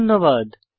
ধন্যবাদ